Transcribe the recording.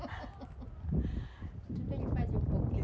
Tudo ele fazia um pouquinho.